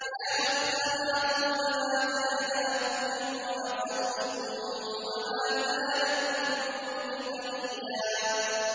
يَا أُخْتَ هَارُونَ مَا كَانَ أَبُوكِ امْرَأَ سَوْءٍ وَمَا كَانَتْ أُمُّكِ بَغِيًّا